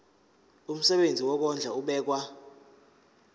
umsebenzi wokondla ubekwa